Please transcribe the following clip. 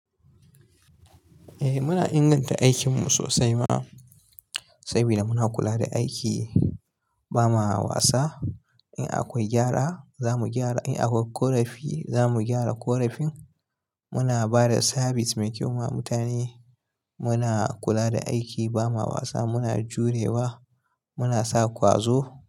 Eh muna inganta aikinmu sosai ma, saboda muna kula da aiki ba ma wasa. In akwai gyara za mu gyara, in akwai ƙorafi za mu gyara ƙorafin. Muna ba da sabis mai kyau wa mutane. Muna kula da aiki ba ma wasa, muna jurewa, muna sa ƙwazo.